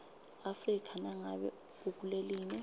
afrika nangabe ukulelinye